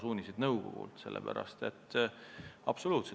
Siis oleks selleks õiguslik alus.